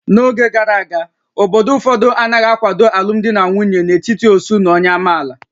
N'oge gara aga, obodo ụfọdụ anaghị akwado alụmdi na nwunye n'etiti ósú na onye amaala